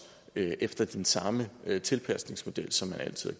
efter den samme tilpasningsmodel som man altid